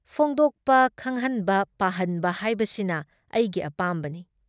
ꯐꯣꯡꯗꯣꯛꯄ ꯈꯪꯍꯟꯕ ꯄꯥꯍꯟꯕ ꯍꯥꯏꯕꯁꯤꯅ ꯑꯩꯒꯤ ꯑꯄꯥꯝꯕꯅꯤ ꯫